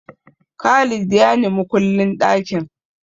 Khalid ya ni makullin ɗakin.